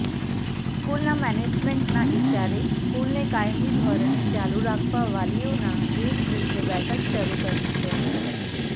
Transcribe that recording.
સ્કૂલના મેનેજમેન્ટના ઈશારે સ્કૂલને કાયમી ધોરણે ચાલુ રાખવા વાલીઓનાં એક જૂથે બેઠકો શરુ કરી છે